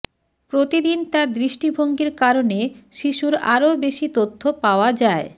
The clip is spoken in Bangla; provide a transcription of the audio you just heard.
প্রতিদিন তার দৃষ্টিভঙ্গির কারণে শিশুর আরো বেশি তথ্য পাওয়া যায়